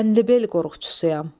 Çənlibel qorxçusuyam.